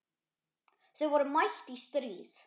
Þau voru mætt í stríð.